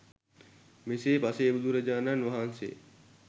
මෙසේ පසේ බුදුරජාණන් වහන්සේ